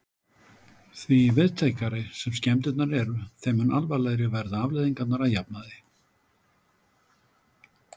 Því víðtækari sem skemmdirnar eru, þeim mun alvarlegri verða afleiðingarnar að jafnaði.